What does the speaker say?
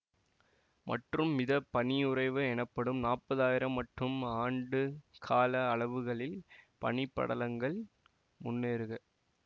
மற்றும் மித பனியுறைவு எனப்படும் நாப்பதாயிரம் மற்றும் ஆண்டு கால அளவுகளில் பனி படலங்கள் முன்னேறுக